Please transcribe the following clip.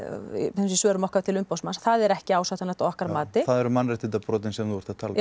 þessum svörum okkar til umboðsmanns að það er ekki ásættanlegt að okkar mati það eru mannréttindabrotin sem þú ert að tala um